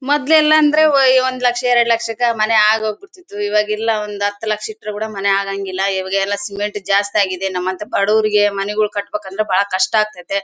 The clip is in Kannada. ಮೊದ್ಲೆಲ್ಲಾ ಅಂದ್ರೆ ಒಂದ್ ಲಕ್ಷ ಎರಡು ಲಕ್ಷ ಕ್ಕ ಮನೆ ಆಗಿ ಹೋಗ್ಬಿಡ್ತಾ ಇತ್ತು. ಇವಾಗೆಲ್ಲ ಒಂದ್ ಹತ್ತು ಲಕ್ಷ ಇಟ್ರು ಕೂಡ ಮನೆ ಆಗಂಗಿಲ್ಲ. ಈಗ ಸಿಮೆಂಟ್ ಜಾಸ್ತಿ ಆಗಿದೆ ನಮ್ಮಂತ ಬಡವರು ಮನೆ ಕಟ್ಟಬೇಕಂದ್ರೆ ಕಷ್ಟ ಆಗ್ತೈತೆ.